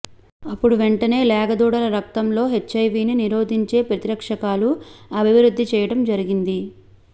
అప్పుడు వెంటనే లేగ దూడల రక్తంలో హెచ్ఐవీ ని నిరోధించే ప్రతిరక్షకాలు అభివృద్ధి కావడం జరిగింది